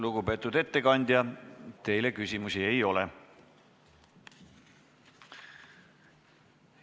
Lugupeetud ettekandja, teile küsimusi ei ole.